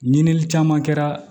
Ɲinili caman kɛra